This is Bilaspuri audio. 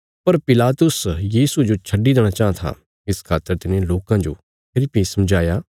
पर पिलातुस यीशुये जो छडी देणा चाँह था इस खातर तिने लोकां जो फेरी भीं समझाया